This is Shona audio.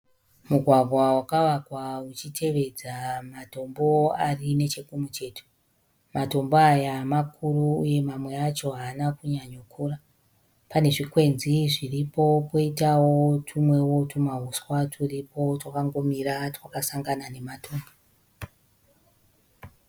Mugwagwa wakavakwa uchitevedza matombo ari nechekumucheto. Matombo aya makuru uye mamwe acho haana kunyanyo kura. Pane zvikwenzi zviripo poitawo tumwewo tumahuswa twuripo twakangomira twakasangana nematombo.